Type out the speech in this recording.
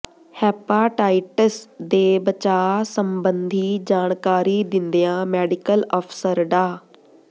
hepatitis ਦੇ ਬਚਾਅ ਸੰਬੰਧੀ ਜਾਣਕਾਰੀ ਦਿੰਦਿਆਂ ਮੈਡੀਕਲ ਅਫ਼ਸਰ ਡਾ